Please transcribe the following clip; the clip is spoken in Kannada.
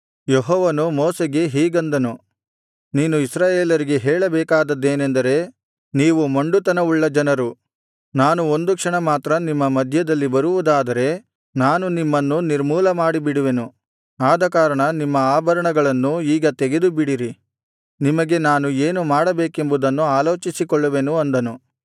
ಯೆಹೋವನು ಮೋಶೆಗೆ ಹೀಗೆಂದನು ನೀನು ಇಸ್ರಾಯೇಲರಿಗೆ ಹೇಳಬೇಕಾದದ್ದೇನೆಂದರೆ ನೀವು ಮೊಂಡುತನವುಳ್ಳ ಜನರು ನಾನು ಒಂದು ಕ್ಷಣ ಮಾತ್ರ ನಿಮ್ಮ ಮಧ್ಯದಲ್ಲಿ ಬರುವುದಾದರೆ ನಾನು ನಿಮ್ಮನ್ನು ನಿರ್ಮೂಲ ಮಾಡಿಬಿಡುವೆನು ಆದಕಾರಣ ನಿಮ್ಮ ಆಭರಣಗಳನ್ನು ಈಗ ತೆಗೆದುಬಿಡಿರಿ ನಿಮಗೆ ನಾನು ಏನು ಮಾಡಬೇಕೆಂಬುದನ್ನು ಆಲೋಚಿಸಿಕೊಳ್ಳುವೆನು ಅಂದನು